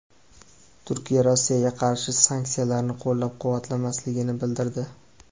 Turkiya Rossiyaga qarshi sanksiyalarni qo‘llab-quvvatlamasligini bildirdi.